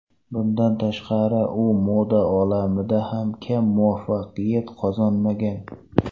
Bundan tashqari, u moda olamida ham kam muvaffaqiyat qozonmagan.